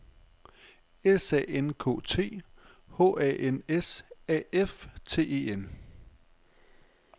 S A N K T H A N S A F T E N